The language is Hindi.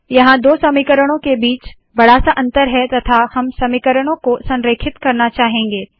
यहाँ दो समीकरणों के बीच में बड़ा सा अंतर है तथा हम समीकरणों को भी संरेखित करना चाहेंगे